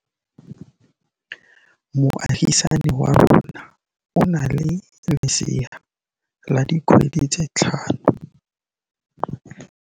Moagisane wa rona o na le lesea la dikgwedi tse tlhano.